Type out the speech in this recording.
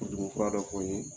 Furu dimi fura dɔ n ye.